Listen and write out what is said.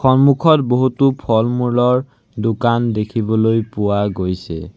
সন্মুখত বহুতো ফলমূলৰ দোকান দেখিবলৈ পোৱা গৈছে।